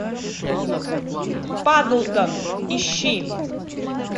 падлтон ищи